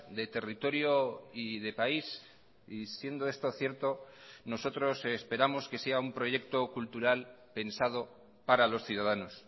de territorio y de país y siendo esto cierto nosotros esperamos que sea un proyecto cultural pensado para los ciudadanos